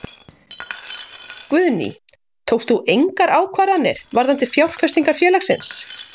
Guðný: Tókst þú engar ákvarðanir varðandi fjárfestingar félagsins?